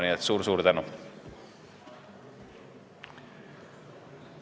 Nii et suur-suur tänu!